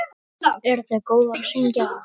Eruð þið góðar að syngja?